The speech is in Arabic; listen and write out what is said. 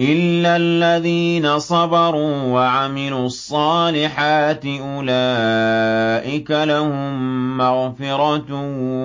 إِلَّا الَّذِينَ صَبَرُوا وَعَمِلُوا الصَّالِحَاتِ أُولَٰئِكَ لَهُم مَّغْفِرَةٌ